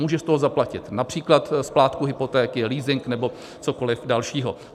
Může z toho zaplatit například splátku hypotéky, leasing nebo cokoli dalšího.